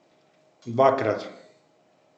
Dvakrat.